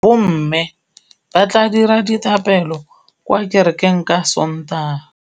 Bommê ba tla dira dithapêlô kwa kerekeng ka Sontaga.